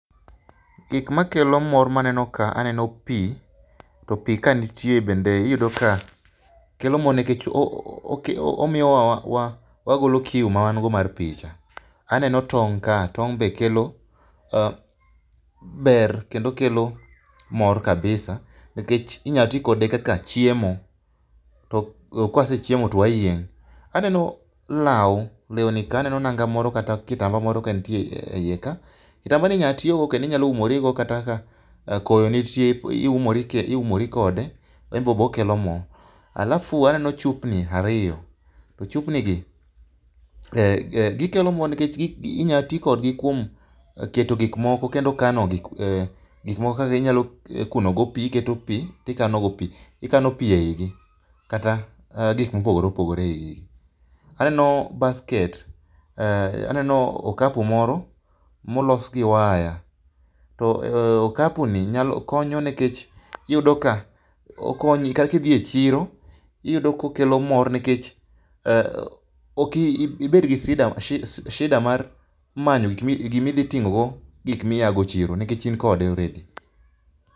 Gikma kelo mor maneno ka aneno pii to pii ka nitie bende iyudo ka kelo mor nikech omiyowa wagolo kiu mawan go mar pii cha. Aneno tong' ka, tong' be kelo ,eah, ber kendo kelo mor kabisa nikech inyalo tii kod ekaka chiemo to kwasechiemo to wayieng. Aneno law, lewni ka aneno nanga moro kata kitamba moro kantie iye, ka, kitambani inya tigo kata inya umri go kata koyo nitie, iumori kode, enbo okelo mor. Alafu aneno chupni airyo to chupni gi gikelo mor nikech inya tii kodgi kuom keto gik moko kendo kano gik moko kaginyalo kuno go pii, iketo pii tikano go pii, ikano pii eigi kata gik mopogore opogore eiye. Aneno basket, aneno okapu moro molos gi waya to ,okapuni nyalo, konyo nikech iyudo ka okonyi ka idhi e chiro iyudo ka okelo mor nikech ok ibed gi shida mar manyo gikmi, gima idhi tingo go gik miya go e chiro nikech in kode already